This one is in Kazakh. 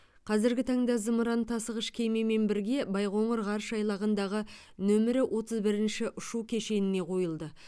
қазіргі таңда зымыран тасығыш кемемен бірге байқоңыр ғарыш айлағындағы нөмірі отыз бірінші ұшу кешеніне қойылды